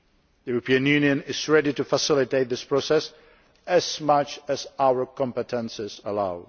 The European Union is ready to facilitate this process as much as our competences allow.